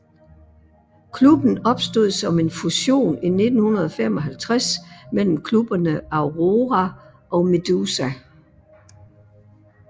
Klubben opstod som en fusion i 1955 mellem klubberne Aurora og Meduza